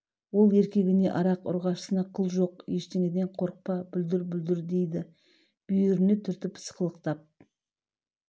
ол еркегіне арақ ұрғашысына қыл жоқ ештеңеден қорықпа бүлдір-бүлдір дейді бүйіріне түртіп сықылықтап